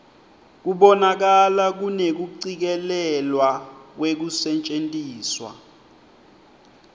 kubonakala kunekucikelelwa kwekusetjentiswa